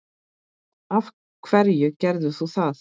af hverju gerðir þú það?